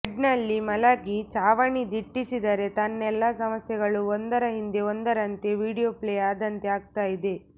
ಬೆಡ್ನಲ್ಲಿ ಮಲಗಿ ಛಾವಣಿ ದಿಟ್ಟಿಸಿದರೆ ತನ್ನೆಲ್ಲ ಸಮಸ್ಯೆಗಳು ಒಂದರ ಹಿಂದೆ ಒಂದರಂತೆ ವೀಡಿಯೊ ಪ್ಲೇ ಆದಂತೆ ಆಗ್ತಾ ಇದೆ